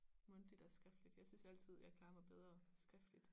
Mundtligt og skriftligt jeg synes altid jeg klarer mig bedre skriftligt